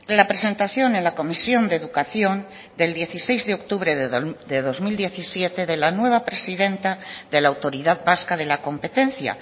la presentación en la comisión de educación del dieciséis de octubre de dos mil diecisiete de la nueva presidenta de la autoridad vasca de la competencia